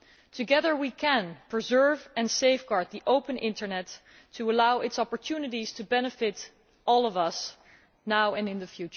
Together we can preserve and safeguard the open internet to allow its opportunities to benefit all of us now and in the